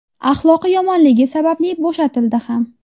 Axloqi yomonligi sababli bo‘shatildi ham.